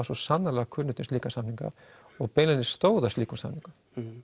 svo sannarlega kunnugt um slíka samninga og beinlínis stóðu að slíkum samningum